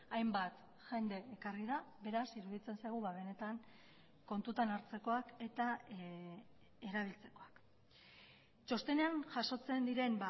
hainbat jende ekarri da beraz iruditzen zaigu benetan kontutan hartzekoak eta erabiltzekoak txostenean jasotzen diren